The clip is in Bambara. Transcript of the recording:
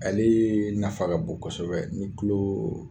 Ale ye nafa ka bon kosɛbɛ ni tulo